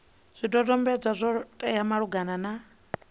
zwidodombedzwa zwo teaho malugana na